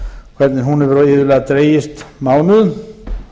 hvernig hún hefur iðulega dregist mánuðum